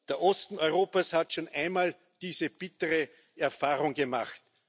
Der Osten Europas hat schon einmal diese bittere Erfahrung gemacht.